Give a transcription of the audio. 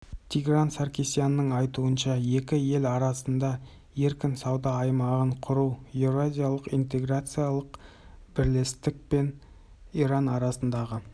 тигран саркисянның айтуынша екі ел арасында еркін сауда аймағын құру еуразиялық интеграциялық бірлестік пен иран арасындағы